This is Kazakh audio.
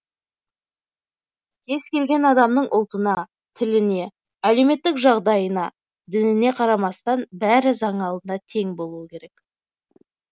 кез келген адамның ұлтына тіліне әлеуметтік жағдайына дініне қарамастан бәрі заң алдында тең болуы керек